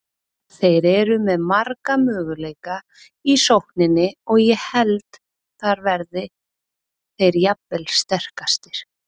Þeir eru með marga möguleika í sókninni og ég held þar verði þeir jafnvel sterkastir.